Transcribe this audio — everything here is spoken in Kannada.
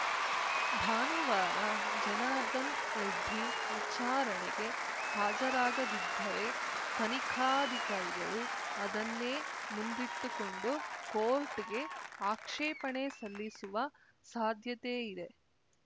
ಭಾನುವಾರ ಜನಾರ್ದನ್ ರೆಡ್ಡಿ ವಿಚಾರಣೆಗೆ ಹಾಜರಾಗದಿದ್ದರೆ ತನಿಖಾಧಿಕಾರಿಗಳು ಅದನ್ನೇ ಮುಂದಿಟ್ಟುಕೊಂಡು ಕೋರ್ಟ್‌ಗೆ ಆಕ್ಷೇಪಣೆ ಸಲ್ಲಿಸುವ ಸಾಧ್ಯತೆ ಇದೆ